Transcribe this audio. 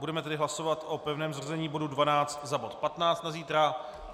Budeme tedy hlasovat o pevném zařazení bodu 12 za bod 15 na zítra.